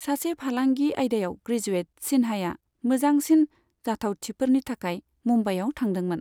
सासे फालांगि आयदायाव ग्रेजुएत, सिन्हाया मोजोंसिन जाथावथिफोरनि थाखाय मुम्बाइयाव थांदोंमोन।